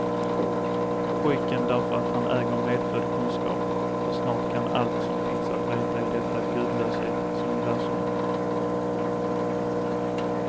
Pojken därför att han äger medfödd kunskap och snart kan allt som finns att veta i detta gudlöshetens universum.